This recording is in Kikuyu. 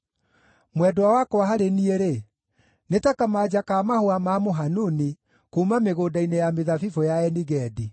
Mwendwa wakwa harĩ niĩ-rĩ, nĩ ta kamanja ka mahũa ma mũhanuni kuuma mĩgũnda-inĩ ya mĩthabibũ ya Eni-Gedi.